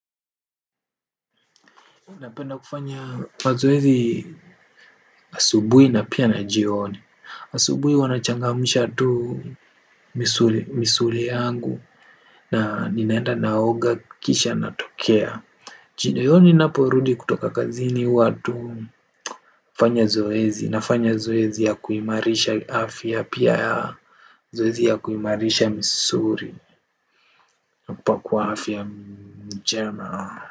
Unapenda kufanya mazoezi asubui na pia na jioni. Asubui wanachangamisha tu misuli yangu na ninaenda naoga kisha natokea. Chino yoni naporudi kutoka kazini huwatu fanya zoezi na fanya zoezi ya kuimarisha afya pia zoezi ya kuimarisha misuri na kupa kuafya mchema.